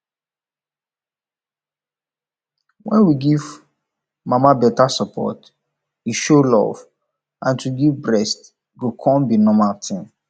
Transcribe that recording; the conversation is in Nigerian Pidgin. when we give mama beta support e show love and to give pikin breast go come be normal tin